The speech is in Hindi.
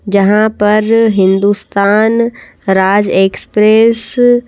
जहां पर हिंदुस्तान राज एक्सप्रेस ।